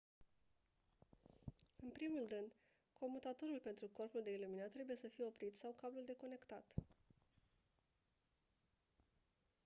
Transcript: în primul rând comutatorul pentru corpul de iluminat trebuie sa fie oprit sau cablul deconectat